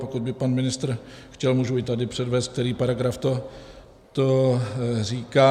Pokud by pan ministr chtěl, můžu i tady předvést, který paragraf to říká.